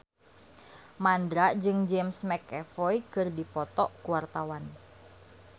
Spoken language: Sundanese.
Mandra jeung James McAvoy keur dipoto ku wartawan